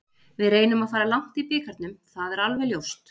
Við reynum að fara langt í bikarnum það er alveg ljóst.